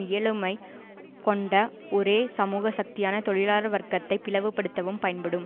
இயலுமை கொண்ட ஒரே சமூக சக்தியான தொழிலாளர் வர்க்கத்தை பிளவுபடுத்தவும் பயன்படும்